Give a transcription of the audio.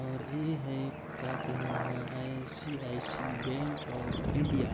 और ए हैं का कहेन हा I C I C bank of India.